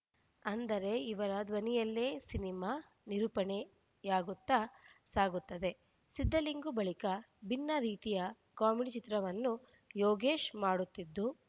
ಅಂದರೆ ಇವರ ಧ್ವನಿಯಲ್ಲೇ ಸಿನಿಮಾ ನಿರೂಪಣೆಯಾಗುತ್ತ ಸಾಗುತ್ತದೆ ಸಿದ್ಲಿಂಗು ಬಳಿಕ ಭಿನ್ನ ರೀತಿಯ ಕಾಮಿಡಿ ಚಿತ್ರವನ್ನು ಯೋಗೀಶ್‌ ಮಾಡುತ್ತಿದ್ದು